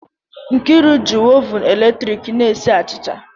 Nkriu ji oven eletrik na-esi achịcha